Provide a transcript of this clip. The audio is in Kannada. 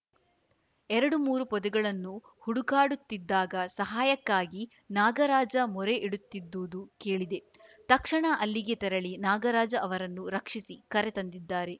ಎರಡು ಮೂರು ಪೊದೆಗಳನ್ನು ಹುಡುಕಾಡುತ್ತಿದ್ದಾಗ ಸಹಾಯಕ್ಕಾಗಿ ನಾಗರಾಜ ಮೊರೆ ಇಡುತ್ತಿದ್ದುದು ಕೇಳಿದೆ ತಕ್ಷಣ ಅಲ್ಲಿಗೆ ತೆರಳಿ ನಾಗರಾಜ ಅವರನ್ನು ರಕ್ಷಿಸಿ ಕರೆ ತಂದಿದ್ದಾರೆ